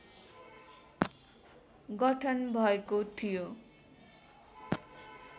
गठन भएको थियो।